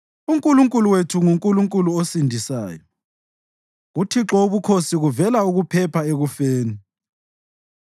UNkulunkulu wethu nguNkulunkulu osindisayo; kuThixo wobukhosi kuvela ukuphepha ekufeni.